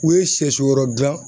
U ye sɛsi yɛrɛw gilan